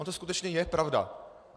Ona to skutečně je pravda.